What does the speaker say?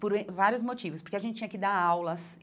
Por em vários motivos, porque a gente tinha que dar aulas.